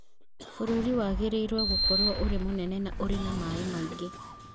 Bũrũri wagĩrĩirũo gũkorũo ũrĩ mũnene na ũrĩ na maĩ maingĩ